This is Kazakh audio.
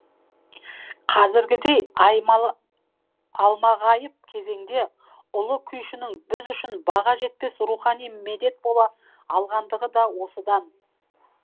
қазіргідей алмағайып кезеңде ұлы күйшінің біз үшін баға жетпес рухани медет бола алғандығы да осыдан